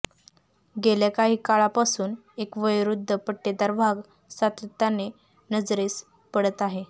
गेल्या काही काळापासून एक वयोवृद्ध पट्टेदार वाघ सातत्याने नजरेस पडत आहे